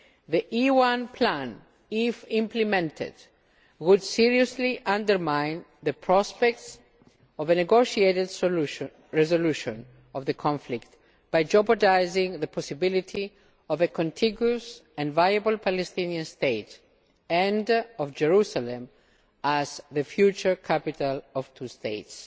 The E1 plan, if implemented, would seriously undermine the prospects of a negotiated resolution of the conflict by jeopardising the possibility of a contiguous and viable Palestinian state and of Jerusalem as the future capital of two states.